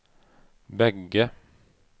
bägge